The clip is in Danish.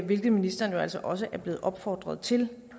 hvilket ministeren jo altså også er blevet opfordret til